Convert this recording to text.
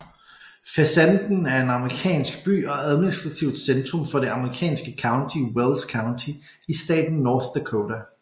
Fessenden er en amerikansk by og administrativt centrum for det amerikanske county Wells County i staten North Dakota